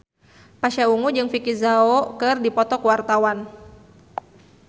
Pasha Ungu jeung Vicki Zao keur dipoto ku wartawan